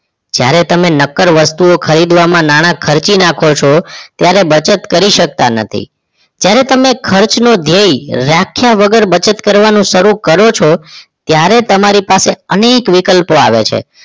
જ્યારે તમે નક્કર વસ્તુઓ ખરીદવામાં નાણાં ખર્ચી નાખો છો ત્યારે બચત કરી શકતા નથી ત્યારે તમને ખર્ચનો ધ્યેય વ્યાખ્યા વગર બચત કરવાનું શરૂ કરો છો ત્યારે તમારી પાસે અનેક વિકલ્પો આવે છે